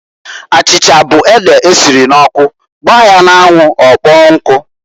Achicha bu ede esiri n'ọkụ gbaa ya n'anwụ ọkpọọ nkụ.